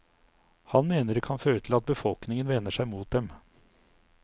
Han mener det kan føre til at befolkningen vender seg mot dem.